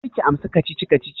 Karki amsa kacici-kacicin!